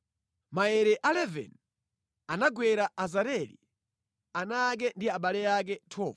Maere a 11 anagwera Azareli, ana ake ndi abale ake. 12